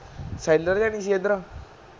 sheller ਜਾ ਨੀ ਸੀ ਐਥੇ